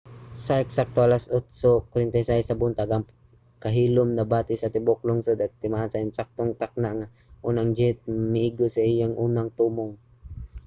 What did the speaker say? sa eksakto alas 8:46 sa buntag ang kahilom nabati sa tibuok lungsod timaan sa eksaktong takna nga ang unang jet miigo sa iyang unang tumong